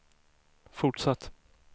fortsatt